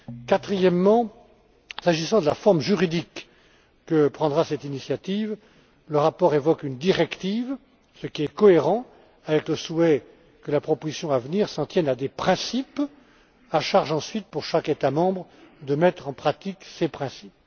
Quatrièmement, s'agissant de la forme juridique que prendra cette initiative, le rapport évoque une directive, ce qui est cohérent avec le souhait que la proposition à venir s'en tienne à des principes à charge, ensuite, pour chaque État membre de mettre en pratique ces principes.